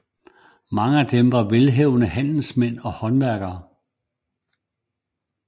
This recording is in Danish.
Mange af dem var velhavende handelsmænd og håndværkere